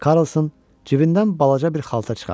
Karlson cibindən balaca bir xalta çıxartdı.